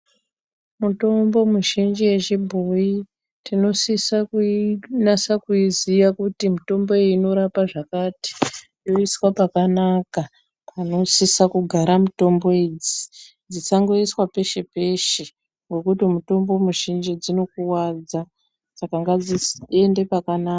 Mitombo mizhinji yechibhoyi tinosiso kuiziya kutimitombkutimmbo inorape zvakati inosiso kugare pakanaka panosiso kugare mitombo iyi ngekuti mitombo mizhinji dzinokuwadza saka dzinosiso kugare pakanaa..